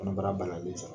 Kɔnɔbara balalen sɔrɔ